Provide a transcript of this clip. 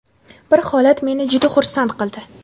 Bir holat meni juda xursand qildi.